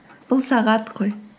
бұл сағат қой